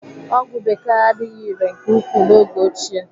Ọgwụ bekee adịghị irè nke ukwuu n'oge ochie.